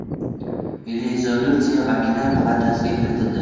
Rezolyutsiya vakillar palatasiga kiritildi.